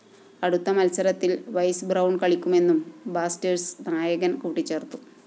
അടുത്ത മത്സരത്തില്‍ Wes Brown കളിക്കുമെന്നും ബ്ലാസ്റ്റേഴ്സ്‌ നായകന്‍ കൂട്ടിച്ചേര്‍ത്തു